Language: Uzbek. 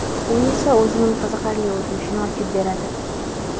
U esa o‘zining qiziqarli o‘tmishini ochib beradi.